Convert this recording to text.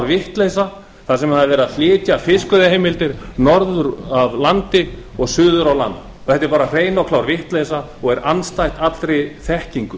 vitleysa þar sem verið er að flytja fiskveiðiheimildir norður af landi og suður á land þetta er hrein og klár vitleysa og er andstætt allri þekkingu